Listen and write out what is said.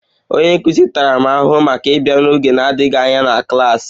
Onye nkụzi m tara m ahụhụ maka ịbịa n'oge na-adịghị anya na klas